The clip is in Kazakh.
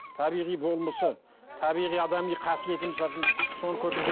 табиғи болмысы табиғи адами қасиеті соны